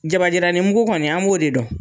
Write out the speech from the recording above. Jabajiranen mugu kɔni, an b'o de dɔn